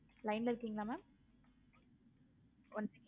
line ல இருக்கிங்களா mam one second